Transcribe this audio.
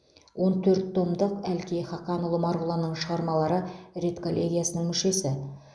он төрт томдық әлкей хақанұлы марғұланның шығармалары редколлегиясының мүшесі